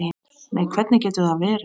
Nei, hvernig getur það verið?